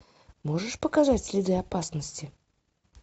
можешь показать следы опасности